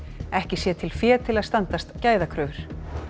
ekki sé til fé til að standast gæðakröfur